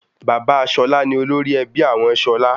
Bàbá Ṣọlá ni olórí ẹbí àwọn Ṣọlá.